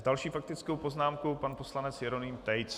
S další faktickou poznámkou pan poslanec Jeroným Tejc.